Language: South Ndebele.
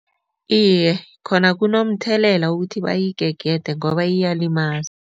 Iye, khona kunomthelela ukuthi bayigegede ngoba iyalimaza.